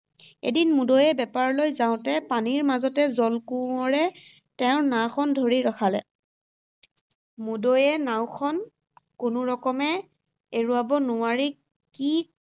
এদিন মুদৈয়ে বেপাৰলৈ যাওঁতে পানীৰ মাজতে, জলকোঁৱৰে তেওঁৰ নাওখন ধৰি ৰখালে। মুদৈয়ে নাওখন কোনোৰকমে এৰুৱাব নোৱাৰি কি